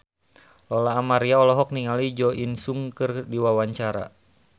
Lola Amaria olohok ningali Jo In Sung keur diwawancara